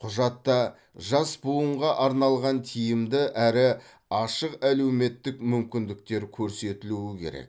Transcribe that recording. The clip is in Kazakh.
құжатта жас буынға арналған тиімді әрі ашық әлеуметтік мүмкіндіктер көрсетілуі керек